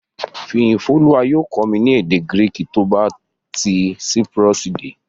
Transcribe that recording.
Fìyìfólúwa yóò kọ́ mi ní èdè Gíríìkì tó bá ti Cyprus dé